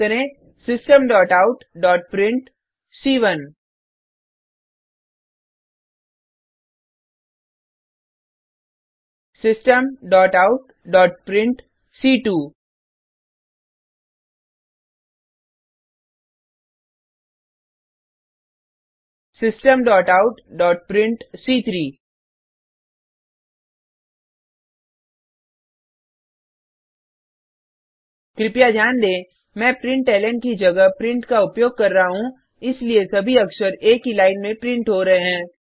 type करें systemoutप्रिंट systemoutप्रिंट systemoutप्रिंट कृपया ध्यान दें मैं प्रिंटलन की जगह प्रिंट का उपयोग कर रहा हूँ इसलिए सभी अक्षर एक ही लाइन में प्रिंट हो रहे हैं